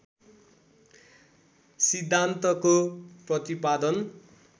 सिद्धान्तको प्रतिपादन